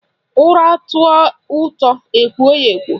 Ura tọọ ụtọ ekwo ya ekwo